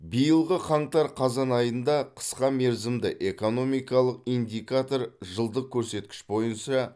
биылғы қаңтар қазан айында қысқа мерзімді экономикалық индикатор жылдық көрсеткіш бойынша